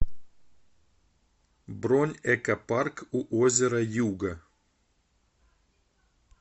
бронь экопарк у озера юга